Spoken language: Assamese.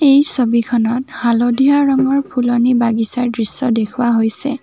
এই ছবিখনত হালধীয়া ৰঙৰ ফুলনি বাগিছাৰ দৃশ্য দেখুওৱা হৈছে।